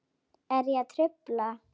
Er ég að trufla?